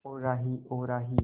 ओ राही ओ राही